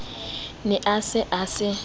ne a se a se